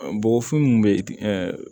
Bɔgɔfin minnu bɛ